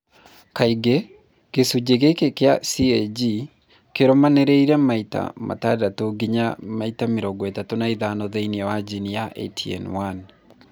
Kaingĩ, gĩcunjĩ gĩkĩ kĩa CAG kĩrũmanĩrĩire maita 6 nginya 35 thĩinĩ wa jini ya ATN1.